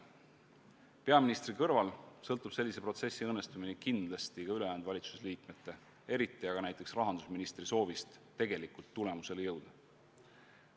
Peaministri kõrval sõltub selle protsessi õnnestumine kindlasti ka ülejäänud valitsuse liikmete, eriti aga rahandusministri soovist tegelikult tulemuseni jõuda.